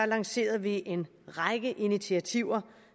lancerede vi en række initiativer